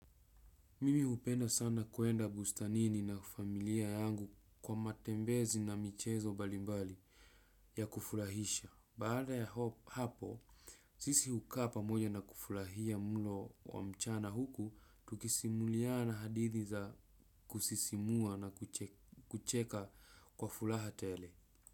Mimi upenda sana kuenda bustanini na familia yangu kwa matembezi na michezo mbalimbali ya kufurahisha. Baada ya hapo, sisi uka pamoja na kufurahia mulo wa mchana huku, tukisimuliana hadithi za kusisimua na kucheka kwa fulaha tele.